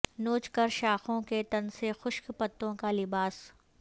نوچ کر شاخوں کے تن سے خشک پتوں کا لباس